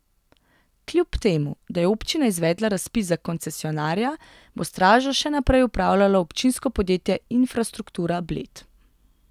Kljub temu, da je občina izvedla razpis za koncesionarja, bo Stražo še naprej upravljalo občinsko podjetje Infrastruktura Bled.